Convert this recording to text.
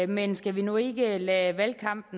men skal vi nu ikke lade valgkamp